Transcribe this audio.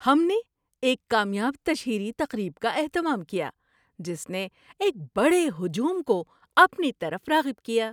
ہم نے ایک کامیاب تشہیری تقریب کا اہتمام کیا جس نے ایک بڑے ہجوم کو اپنی طرف راغب کیا۔